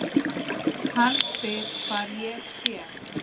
Hann spyr hvar ég sé.